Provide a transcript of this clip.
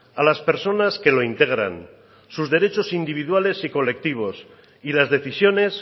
a las personas que lo integran sus derechos individuales y colectivos y las decisiones